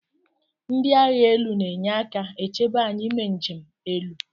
Ndi agha elu na enyeka echebe anyi ime nje 'elu.